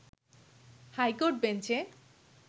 high court বেঞ্চে